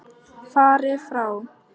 Farið frá!